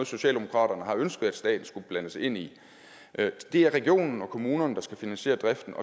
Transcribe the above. socialdemokraterne har ønsket at staten skulle blandes ind i det er regionerne og kommunerne der skal finansiere driften